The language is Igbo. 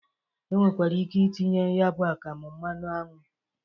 E nwekwara ike itinye ya bụ akamụ mmanụ anwụ.